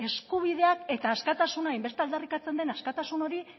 eskubideak eta askatasuna hainbeste aldarrikatzen den askatasun hori